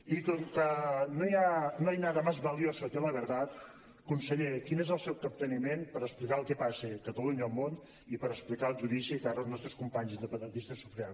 i com que no hay nada más valioso que la verdad conseller quin és el seu capteniment per explicar el que passa a catalunya al món i per explicar el judici que ara els nostres companys independentistes sofriran